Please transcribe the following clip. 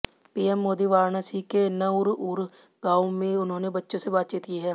PM Modi Varanasi के नरउर गांव में उन्होंने बच्चों से बातचीत की है